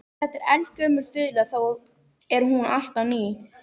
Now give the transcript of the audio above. Þetta er eldgömul þula þó er hún alltaf ný.